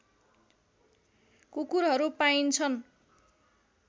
कुकुरहरू पाइन्छन्